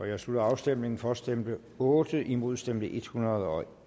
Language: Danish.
jeg slutter afstemningen for stemte otte imod stemte en hundrede og